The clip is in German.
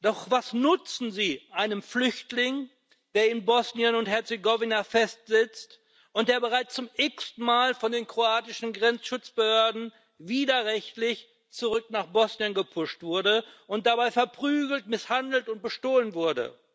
Doch was nutzen sie einem Flüchtling, der in Bosnien und Herzegowina festsitzt und der bereits zum x ten Mal von den kroatischen Grenzschutzbehörden widerrechtlich zurück nach Bosnien gepusht wurde und dabei verprügelt, misshandelt und bestohlen wurde?